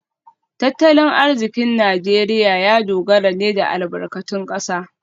Tattalin arzikin Najeriya ya dogara ne da albarkatun kasa